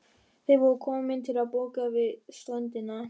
Skjalið var ekki einvörðungu hinn hefðbundni hollustueiður við Danakonung.